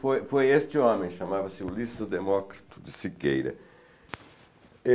Foi foi este homem, chamava-se Ulisses Demócrito de Siqueira.